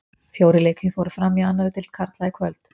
Fjórir leikir fóru fram í annari deild karla í kvöld.